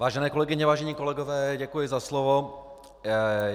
Vážené kolegyně, vážení kolegové, děkuji za slovo.